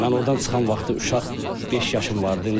Mən ordan çıxan vaxtı uşaq beş yaşım vardı.